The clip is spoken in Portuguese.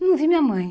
Não vi minha mãe.